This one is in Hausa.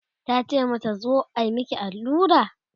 tace mata "zo a Miki allura?